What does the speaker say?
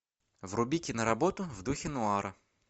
вруби киноработу в духе нуара